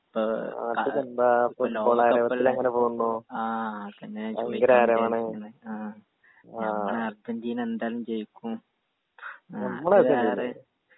ഇപ്പൊ ലോകക്കപ്പല്ലെ ആ ഞാൻ ചോയിക്കണന്ന് വിചാരിക്കുന്നു ആ ഞമ്മളെ അർജന്റീന എന്തായാലും ജയിക്കും ആ അത് വേറെ